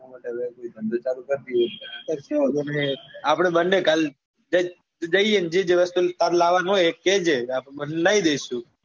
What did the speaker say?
ધંધો ચાલુ કર દઈએ કશો વાંધો ની આપડે બંને કાલ જઈએ જે જોઈએ ને જે જે વસ્તુ તાર લાવવા નું હોય એ કેજે આપડે લઈ દઈશું.